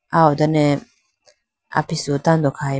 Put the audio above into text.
aw ho done apisu tando khayi.